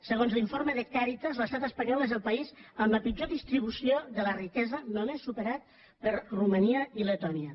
segons l’informe de càritas l’estat espanyol és el país amb la pitjor distribució de la riquesa només superat per romania i letònia